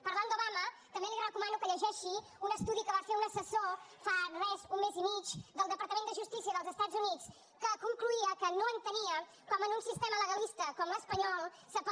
parlant d’obama també li recomano que llegeixi un estudi que va fer un assessor fa res un mes i mig del departament de justícia dels estats units que concloïa que no entenia com en un sistema legalista com l’espanyol s’apel